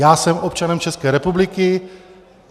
Já jsem občanem České republiky.